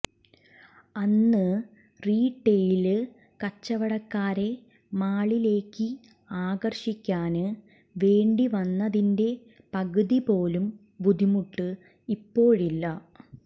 അന്ന് റീടെയില് കച്ചവടക്കാരെ മാളിലേയ്ക്ക് ആകര്ഷിക്കാന് വേണ്ടി വന്നത്തിന്റെ പകുതിപോലും ബുദ്ധിമുട്ട് ഇപ്പോഴില്ല